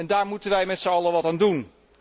Daar moeten wij met zijn allen wat aan doen.